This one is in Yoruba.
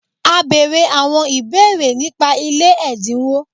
A bere awon ibeere nipa ile edinwo